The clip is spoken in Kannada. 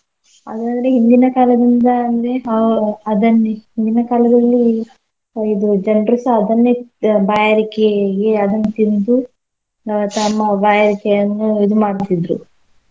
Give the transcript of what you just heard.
ಅದ್ರಲ್ಲಿ ಹಿಂದಿನ ಕಾಲದಿಂದ ಅಂದ್ರೆ ಹೋ ಅದನ್ನೇ ಹಿಂದಿನ ಕಾಲದಲ್ಲಿ ಹೊ~ ಇದು ಜನ್ರುಸ ಅದನ್ನೇ ತ್~ ಬಾಯಾರಿಕೆಗೆ ಅದನ್ನ್ ತಿಂದು ಆ ತಮ್ಮ ಬಾಯಾರಿಕೆಯನ್ನು ಇದು ಮಾಡ್ತಿದ್ರು.